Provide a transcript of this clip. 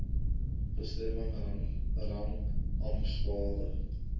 bestemming rang ampshalwe